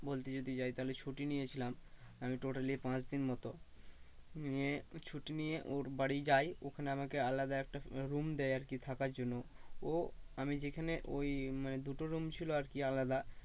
বলতে যদি যাই তাহলে ছুটি নিয়েছিলাম। আমি totally ই পাঁচদিন মতো। নিয়ে ছুটি নিয়ে ওর বাড়ি যাই ওখানে আমাকে আলাদা একটা room দেয় আর কি থাকার জন্য ও আমি যেখানে ওই মানে দুটো room ছিল আর কি আলাদা